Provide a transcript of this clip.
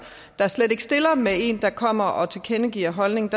slet ikke stiller med en der kommer og tilkendegiver en holdning